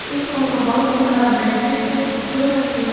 ऐ कोनो बहुत बड़ा बिल्डिंग के फोटो बाटे।